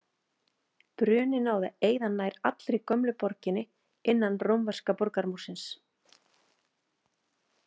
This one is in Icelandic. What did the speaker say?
Bruninn náði að eyða nær allri gömlu borginni innan rómverska borgarmúrsins.